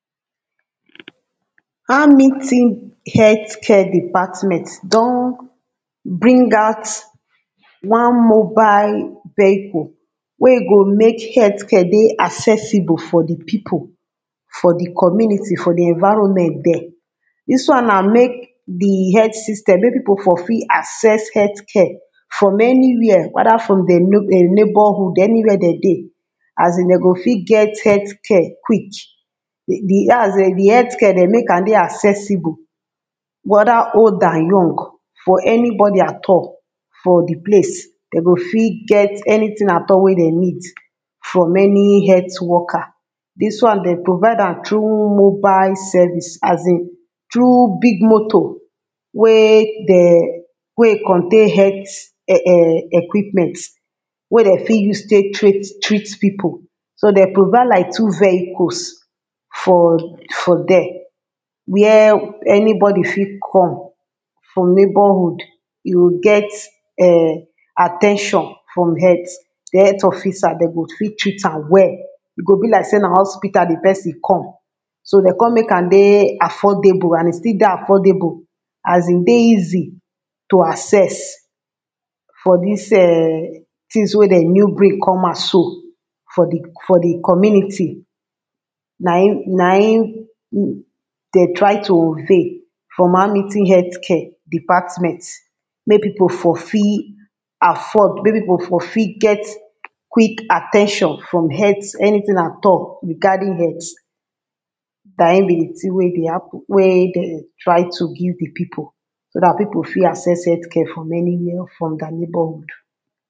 Hamilton health care department don bring out one mobile vehicle. wey e go make health care dey accessible for di people. for di community, for di environment there, dis one na make di health system make people for fit access health care, from any where whether from dem neibourhood any where dem dey. asin dem go fit get health care quick. di health care dem make am dey accessible, whether old and young for anybody at all. for di place, dem go fit get anything at all wen dem need, from any health worker. dis one dem provide am through mobile service asin through big moto, wey dem wey e contain health e equipment, wen dem fit use take tret treat people so dem provide like two vehicles for for there, where any body fit come, for neighbourhood e go get um at ten tion from health from health officer dem go fit treat am well, e go be like sey na hospital di person come so dem come make am dey affordable and e still dey affordable asin dey easy, to access for dis um things wey dem new bring come out so for di co for di community na im na im dem try to unveil from Hamilton health care department, make people for fit. afford make people for fit get quick at ten tion from health anything at all regarding health. na im be di thing wey dey happen wey dem try to give di people so dat people go fit access health care from anywhere or from their neighbourhood.